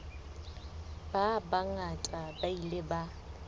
ba bangata ba ile ba